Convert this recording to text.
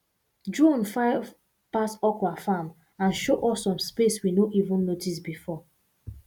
drone fly pass okra farm and show us some space we no even notice before